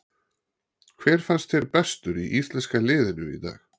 Hver fannst þér bestur í íslenska liðinu í dag?